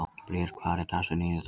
Bríet, hver er dagsetningin í dag?